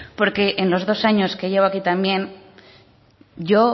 en los dos años que llevo aquí también yo